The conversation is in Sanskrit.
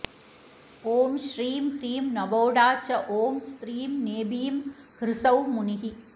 ॐ श्रीं ह्रीं नवोढा च ॐ स्त्रीं नेबीं ह्सौः मुनिः